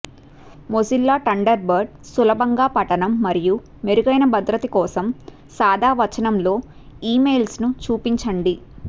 Mozilla Thunderbird సులభంగా పఠనం మరియు మెరుగైన భద్రత కోసం సాదా వచనంలో ఇమెయిల్స్ను చూపించండి